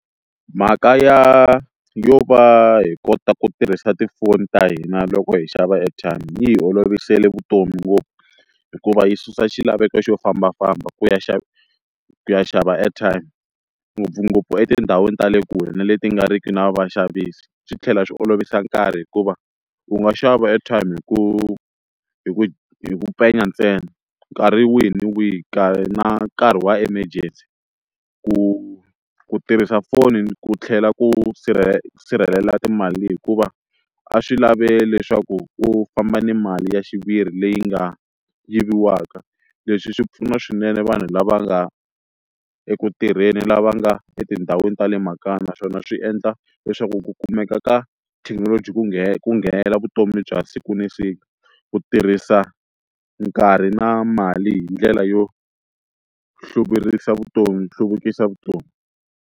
Mhaka ya yo va hi kota ku tirhisa tifoni ta hina loko hi xava airtime yi hi olovisele vutomi ngopfu hikuva yi susa xilaveko xo fambafamba ku ya xava ku ya xava airtime ngopfungopfu etindhawini ta le kule na leti nga riki na vaxavisi, swi tlhela swi olovisa nkarhi hikuva u nga xava airtime hi ku hi ku hi ku ntsena nkarhi wihi na wihi ka na nkarhi wa emergency ku ku tirhisa foni ku tlhela ku sirhelela timali hikuva a swi lave leswaku u famba ni mali ya xiviri leyi nga yiviwaka leswi swi pfuna swinene vanhu lava nga eku tirheni lava nga etindhawini ta le makaya naswona swi endla leswaku ku kumeka ka thekinoloji ku ku nghenela vutomi bya siku na siku ku tirhisa nkarhi na mali hi ndlela yo hluvurisa vutomi hluvukisa vutomi.